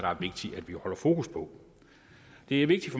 holde fokus på det er vigtigt